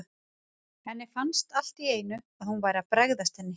Henni fannst allt í einu að hún væri að bregðast henni.